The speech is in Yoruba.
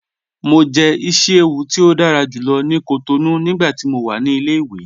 Mọ jẹ̀ ìṣí-èwù ti o dára júlọ̀ ni Cotonou nigbàtí mó wà ni ilẹ̀-iwe